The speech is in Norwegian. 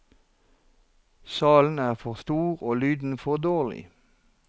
Salen er for stor, og lyden for dårlig.